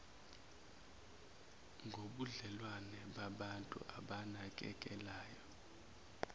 ngobudlelwano babantu abanakekelanayo